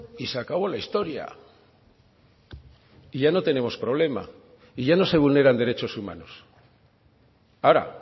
y se acabó la historia y ya no tenemos problema y ya no se vulneran derechos humanos ahora